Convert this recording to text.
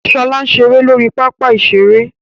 Ṣọlá ń ṣeré lórí pápá ìṣeré